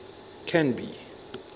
canby